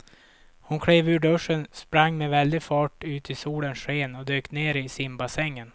Hon klev ur duschen, sprang med väldig fart ut i solens sken och dök ner i simbassängen.